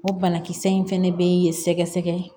O banakisɛ in fɛnɛ be ye sɛgɛsɛgɛ